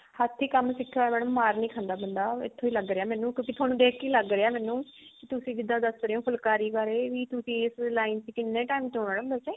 ਹੱਥੀ ਕੰਮ ਸਿਖਿਆ ਹੋਇਆ madam ਮਾਰ ਨੀ ਖਾਂਦਾ ਬਣਦਾ ਇੱਥੋਂ ਹੀ ਲੱਗ ਰਿਹਾ ਮੈਨੂੰ ਥੋਨੂੰ ਦੇਖ ਕੇ ਹੀ ਲੱਗ ਰਿਹਾ ਮੈਨੂੰ ਕੀ ਤੁਸੀਂ ਜਿੱਦਾਂ ਦੱਸ ਰਹੇ ਹੋ ਫੁਲਕਾਰੀ or ਇਹ ਵੀ ਤੂੰ ਇਸ line ਚ ਕਿੰਨੇ time ਤੋਂ ਹੋ ਤੁਸੀਂ